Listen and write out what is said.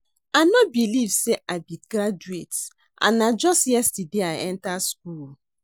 I no believe say I be graduate and na just yesterday I enter school